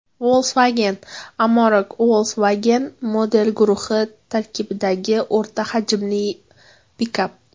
Volkswagen Amarok Volkswagen model guruhi tarkibidagi o‘rta hajmli pikap.